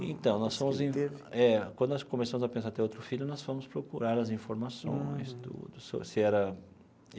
Então nós fomos é, quando nós começamos a pensar em ter outro filho, nós fomos procurar as informações tudo sobre se era.